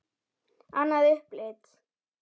Annað upplit.